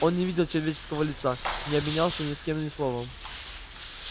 он не видел человеческого лица не обменялся ни с кем ни словом